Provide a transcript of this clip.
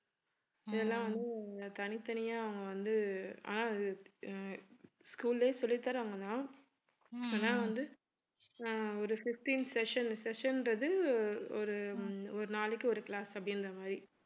இதெல்லாம் வந்து தனித்தனியே வந்து ஆஹ் அஹ் school லயே சொல்லி தர்றாங்கனா. வந்து அஹ் ஒரு fifteen session session ன்றது ஒரு~ ஒரு நாளைக்கு ஒரு class அப்படிங்றமாதிரி